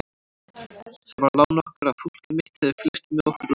Það var lán okkar að fólkið mitt hafði fylgst með okkur úr landi.